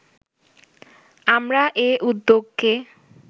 আমরা এ উদ্যোগকে